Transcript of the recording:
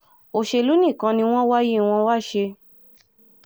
òṣèlú nìkan ni wọ́n wáyé wọn wàá ṣe